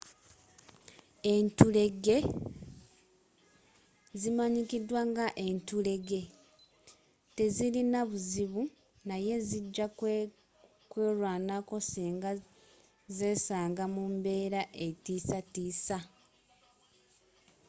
enfulege zimanyikiddwa nga enfulege tezirina buzibu naye zijja kwelwanako singa zesanga mu mbeera etiisatiisa